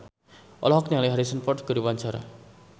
Indah Wisnuwardana olohok ningali Harrison Ford keur diwawancara